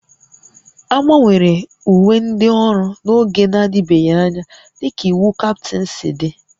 A gbanwere uwe ndị ọrụ n'oge na-adịbeghị anya dịka iwu Captain si dị